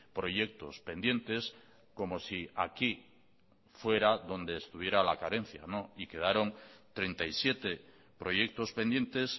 proyectos pendientes como si aquí fuera donde estuviera la carencia y quedaron treinta y siete proyectos pendientes